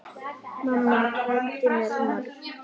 Mamma kenndi mér margt.